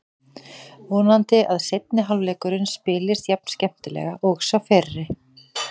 Vonandi að seinni hálfleikurinn spilist jafn skemmtilega og sá fyrri.